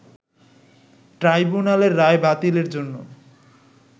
ট্রাইব্যুনালের রায় বাতিলের জন্য